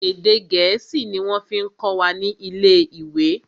Èdè gẹ̀ẹ́sì ni wọ́n fí kọ́ wa ni ilé ìwé.